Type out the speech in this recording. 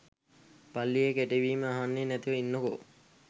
පල්ලියේ කෙටවීම් අහන්නේ නැතිව ඉන්නකෝ